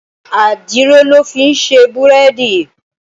Àdìrò lò fin sé búrèdí